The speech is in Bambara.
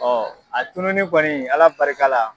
a tununi kɔni Ala barikala